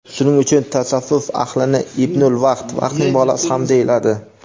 Shuning uchun tasavvuf ahlini "ibnul vaqt" (vaqtning bolasi) ham deyiladi.